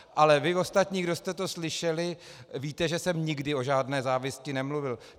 Ale vy ostatní, kdo jste to slyšeli, víte, že jsem nikdy o žádné závisti nemluvil.